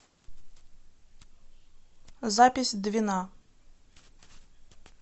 запись двина